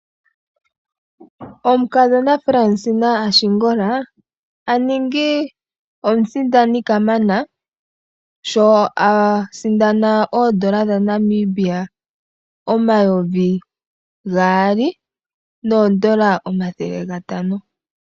Omukadhona Fransina Ashingola a ningi omusindani omunelago, sho a sindana oodola dhaNamibia omayovi gaali noodola omathele gatano.